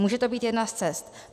Může to být jedna z cest.